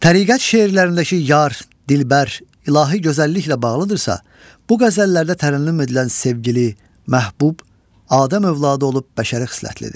Təriqət şeirlərindəki yar, dilbər, ilahi gözəlliklə bağlıdırsa, bu qəzəllərdə tərənnüm edilən sevgili, məhbub, Adəm övladı olub bəşəri xislətlidir.